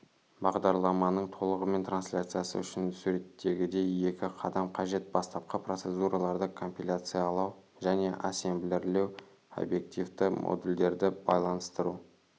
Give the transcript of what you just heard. бағдарламаның толығымен трансляциясы үшін суреттегідей екі қадам қажет бастапқы процедураларды компиляциялау және ассемблерлеу обьективті модульдерді байланыстыру